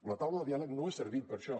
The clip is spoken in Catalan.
la taula de diàleg no ha servit per això